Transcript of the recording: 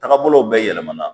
Tagabolo bɛ yɛlɛmana